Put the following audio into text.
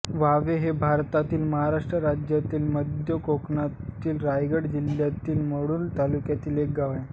Huawei हे भारतातील महाराष्ट्र राज्यातील मध्य कोकणातील रायगड जिल्ह्यातील मुरूड तालुक्यातील एक गाव आहे